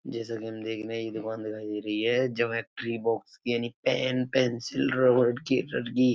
जैसा की हम देख रहे हैं ये दुकान दिखाई दे रही है जामेट्री बॉक्स यानी पेन पेंसिल रबर कटर की --